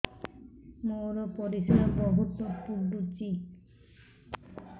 ମୋର ପରିସ୍ରା ବହୁତ ପୁଡୁଚି